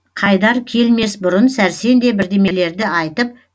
қайдар келмес бұрын сәрсен де бірдемелерді айтып